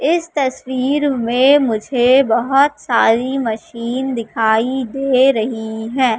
इस तस्वीर में मुझे बहोत सारी मशीन दिखाई दे रही हैं।